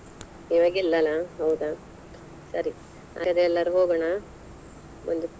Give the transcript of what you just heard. ಇವಾಗ ಇಲ್ಲ ಅಲ್ಲ ಹೌದಾ ಸರಿ ಹಾಗಾದ್ರೆ ಎಲ್ಲರು ಹೋಗೋಣ? ಒಂದು.